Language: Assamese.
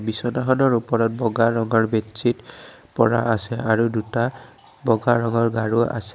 বিচনাখনৰ ওপৰত বগা ৰঙৰ বেডচিদ পৰা আছে আৰু দুটা বগা ৰঙৰ গাৰু আছে।